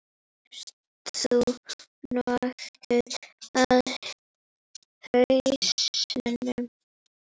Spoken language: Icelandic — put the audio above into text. Ert þú nokkuð á hausnum?